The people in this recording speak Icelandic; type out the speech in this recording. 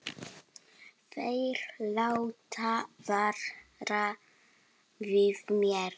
Þeir láta vara við mér.